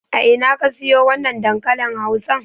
A ina ka siyo wannan dankalin Hausan?